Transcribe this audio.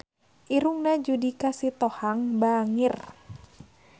Irungna Judika Sitohang bangir